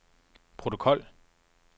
protokol